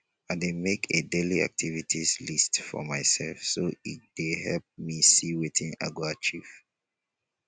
i dey make a dailyactivities list for myself so e dey help me see wetin i go achieve